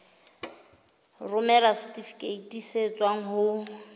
romela setifikeiti se tswang ho